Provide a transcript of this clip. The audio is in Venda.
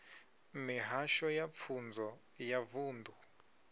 mihasho ya pfunzo ya vunḓu